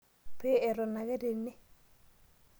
Pee eton ake tene.